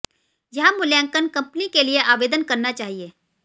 यह मूल्यांकन कंपनी के लिए आवेदन करना चाहिए